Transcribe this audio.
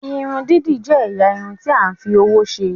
Irun didi jẹ ẹ̀yà Irun ti a fí òwò ṣe.